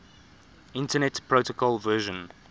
internet protocol version